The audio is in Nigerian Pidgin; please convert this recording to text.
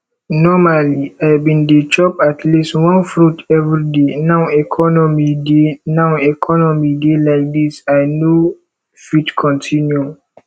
normally i bin dey chop atleast one fruit everyday now economy dey now economy dey like dis i no fit continue